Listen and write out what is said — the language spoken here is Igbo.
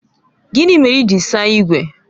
Gịnị mere ị ji saa ígwè?